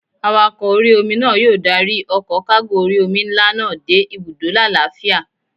Awakọ̀ orí-omi náà yóò dárí ọkọ̀ kágò orí-omi nlá náà dé ibùdó lálàáfíà